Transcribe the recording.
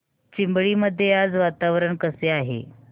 चिंबळी मध्ये आज वातावरण कसे आहे